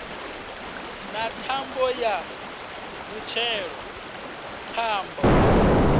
na thambo ya mutshelo thambo